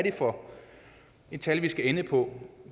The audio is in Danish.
er for et tal vi skal ende på